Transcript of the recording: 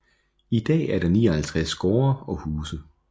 I dag er der 59 gårde og huse